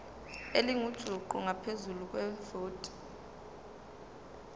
elingujuqu ngaphezu kwevoti